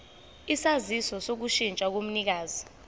isaziso sokushintsha komnikazi